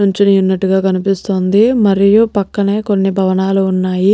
నుంచొని ఉన్నట్లుగా కనిపిస్తోంది మరియు పక్కనే కొన్ని భవనాలు ఉన్నయి.